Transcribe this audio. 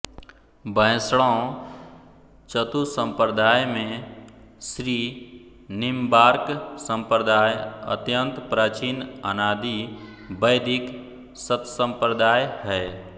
वैष्णव चतुसम्प्रदाय में श्रीनिम्बार्क सम्प्रदाय अत्यन्त प्राचीन अनादि वैदिक सत्सम्प्रदाय है